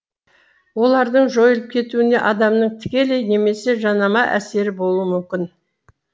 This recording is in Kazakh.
олардың жойылып кетуіне адамның тікелей немесе жанама әсері болуы мүмкін